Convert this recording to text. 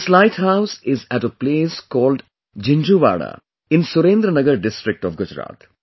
This light house is at a place called Jinjhuwada in Surendra Nagar district of Gujarat